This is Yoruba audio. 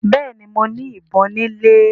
Béèni mọ ní ìbọn ni ilè.